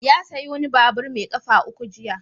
Ya sayi wani babur mai ƙafa uku jiya.